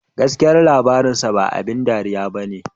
"Gaskiya labarinsa ba abin dariya ba ne"